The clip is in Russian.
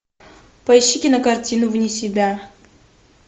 поищи кинокартину вне себя